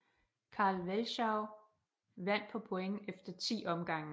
Carl Welschou vandt på point efter 10 omgange